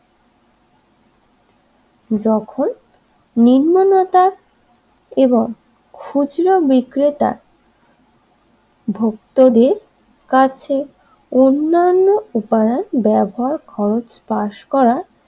যখন নির্মলতা এবং খুচরো বিক্রেতা ভুক্তদের কাছে অন্যান্য উপাদান ব্যবহার খরচ পাশ করা